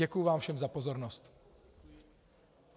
Děkuji vám všem za pozornost.